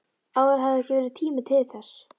Áður hafði ekki verið tími til þess.